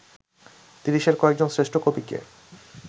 তিরিশের কয়েকজন শ্রেষ্ঠ কবিকে